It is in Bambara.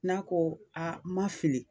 N'a ko ma fili,